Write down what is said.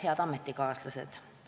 Head ametikaaslased!